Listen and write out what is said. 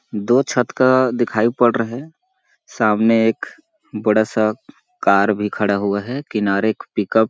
दो छत का दिखाई पड़ रहे है सामने एक बड़ा सा कार भी खड़ा हुआ है किनारे एक पिकअप --